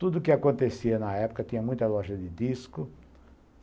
Tudo que acontecia na época tinha muita loja de disco.